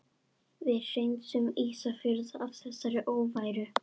Við hreinsum Ísafjörð af þessari óværu!